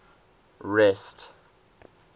rest